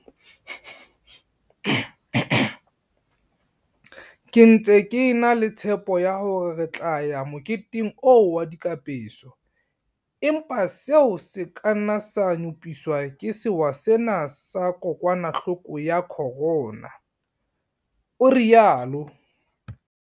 "Ke ntse ke e na le tshepo ya hore re tla ya moketeng oo wa dikapeso, empa seo se ka nna sa nyopiswa ke sewa sena sa kokwanahloko ya corona," o rialo.